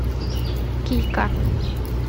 кика